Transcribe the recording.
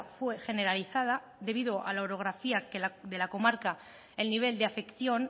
fue generalizada debido a la orografía de la comarca el nivel de afección